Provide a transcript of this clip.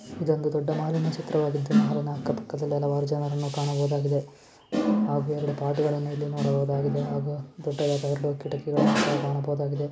ಇದೊಂದು ದೊಡ್ಡ ಮಾಹಲಿನ ಚಿತ್ರವಾಗಿದ್ದು ಮಾಲಿನ ಅಕ್ಕ ಪಕ್ಕ ತುಂಬಾ ಜನರನ್ನು ಕಾಣಬಹುದಾಗಿದೆ ಆಗು ಅದರ ಭಾಗಗಳನ್ನು ಇಲ್ಲಿ ನೋಡಲಾಗಿದೆ ದೊಡ್ಡದಾದ ಕಿಟಕಿ ಬಾಗಿಲುಗಳನ್ನು ನೋಡಬಹುದಾಗಿದೆ .